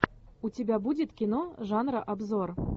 у тебя будет кино жанра обзор